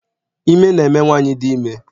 Ime na eme nwaanyị ahụ dị ime.